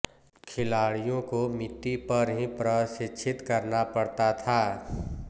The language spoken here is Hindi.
खिलाड़ियों को मिट्टी पर ही प्रशिक्षित करना पड़ता था